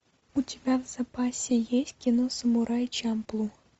у тебя в запасе есть кино самурай чамплу